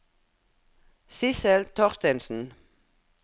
Sissel Thorstensen